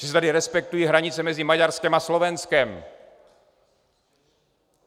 Že se tady respektují hranice mezi Maďarskem a Slovenskem.